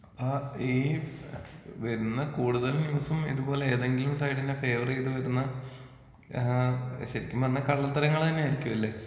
അപ്പാ ഈ വരുന്ന കൂടുതൽ ന്യൂസും ഇത് പോലെ ഏതെങ്കിലും സൈഡിന് ഫേവറീത് വരുന്ന ഏ ശെരിക്കും പറഞ്ഞ കള്ളത്തരങ്ങളന്നെ ആയിരിക്കുമല്ലെ?